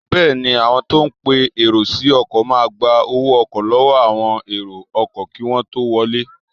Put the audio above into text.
Bẹẹni, àwọn tó ń pe èrò sí ọkọ̀ máa gba owó ọkọ̀ lọ́wọ́ àwọn èrò ọkọ̀ kí wọ́n tó wọlé